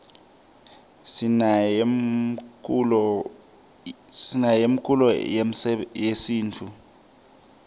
sinane mkulo yesimtfu